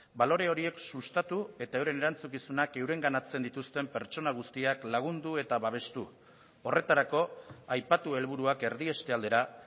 balore horiek sustatu eta euren erantzukizunak eurenganatzen dituzten pertsona guztiak lagundu eta babestu horretarako aipatu helburuak erdieste aldera